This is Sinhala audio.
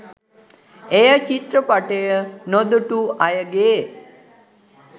එය චිත්‍රපටය නොදුටු අයගේ